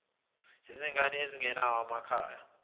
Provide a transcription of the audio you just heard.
zezingane ezingenawo amakhaya